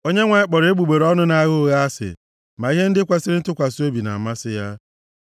Onyenwe anyị kpọrọ egbugbere ọnụ nʼagha ụgha asị, ma ihe ndị kwesiri ntụkwasị obi na-amasị ya.